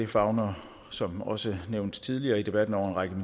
favner som også nævnt tidligere i debatten en række